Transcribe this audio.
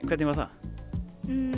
hvernig var það